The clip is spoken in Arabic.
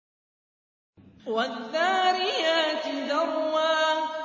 وَالذَّارِيَاتِ ذَرْوًا